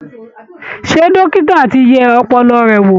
Ṣé dókítà ti yẹ ọpọlọ rẹ̀ wò?